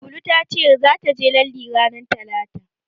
Lulu ta ce zata je lalle ranar Talata.